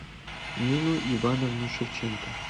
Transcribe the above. нину ивановну шевченко